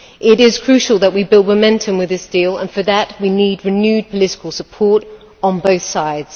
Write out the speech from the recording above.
It is crucial that we build momentum with this deal, and for that we need renewed political support on both sides.